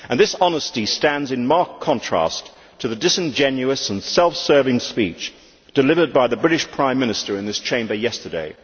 This honesty stands in marked contrast to the disingenuous and self serving speech delivered by the British Prime Minister in this Chamber yesterday.